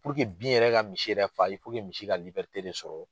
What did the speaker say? bin yɛrɛ ka misi yɛrɛ fa misi ka sɔrɔ